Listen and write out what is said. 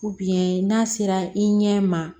n'a sera i ɲɛ ma